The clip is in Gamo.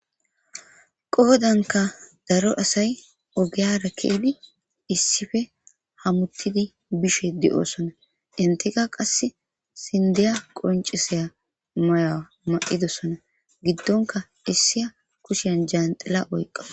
qoodanka daro asay ogeyara keedi issife hamuttidi bishe de7osona intika qass sindeya qoncisaya maya ma7idosona giddonka issiya kushyen jaanxila oyqqa